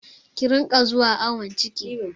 Ki riƙa zuwa awon ciki!